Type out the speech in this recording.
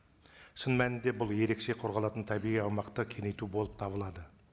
шын мәнінде бұл ерекше қорғалатын табиғи аумақты кеңейту болып табылады